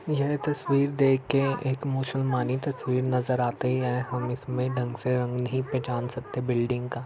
यह तस्वीर देखकर एक मुसलमानी तस्वीर नजर आती है हम इसमें ढंग से रंग नहीं पहचान सकते बिल्डिंग का |